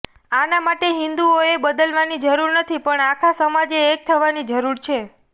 આના માટે હિંદુઓએ બદલવાની જરૂર નથી પણ આખા સમાજે એક થવાની જરૂર છે